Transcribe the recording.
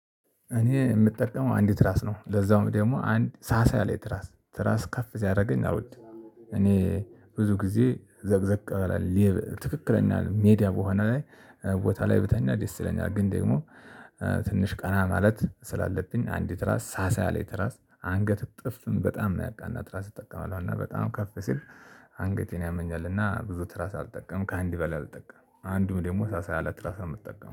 እኔ የምጠቀመው አንድ ትራስ ነው ለዛውም ደግሞ አንድ ሳሳ ያለይ ትራስ ትራስ ከፍ ሲያደርገኝ አልወድም። እኔ ብዙ ጊዜ ዘቅዘቅ ብሌ ትክክለኛ ሜዳ በሆነ ላይ ቦታ ላይ ብተኛ ደስ ይለኛል ግን ደግሞ ትንሽ ቀና ማለት ስላለብኝ አንዲት ትራስ ሳሳ ያለይ ትራስ አንገት እጥፍም በጣም ነው ያቃና ትራስ አልጠቀምም እና በጣም ከፍ ሲል አንገቴን ያመኛል እና ብዙ ትራስ አልጠቀምም ከአንድ በላይ አልጠቀምም አንዱም ደግሞ ሳሳ ያለ ትራስ ነው የምጠቀመው።